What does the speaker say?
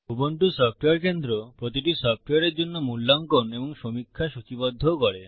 Ubuntu software কেন্দ্র প্রতিটি সফ্টওয়্যারের জন্য মূল্যাঙ্কন এবং সমীক্ষা সূচীবদ্ধও করে